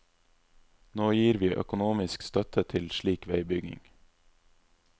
Nå gir vi økonomisk støtte til slik veibygging.